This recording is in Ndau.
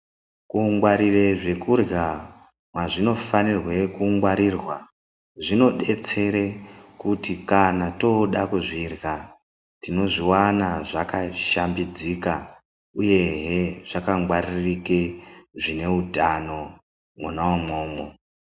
Kungwarire zvekurya mwazvinofanira kungwaririrwa zvinobatsire kuti kana toda kuzvirya tinozviwana zvakashambidzika uyehe zvakangwaririke zvine utano mwona umwomwo.